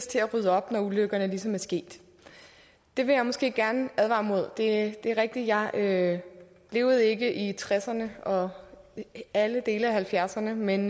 til at rydde op når ulykkerne ligesom er sket det vil jeg måske gerne advare imod det er rigtigt at jeg ikke levede i nitten tresserne og alle dele af nitten halvfjerdserne men